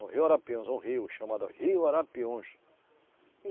No rio Arapiuns, um rio chamado rio Arapiuns.